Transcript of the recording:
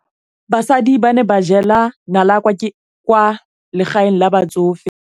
Basadi ba ne ba jela nala kwaa legaeng la batsofe.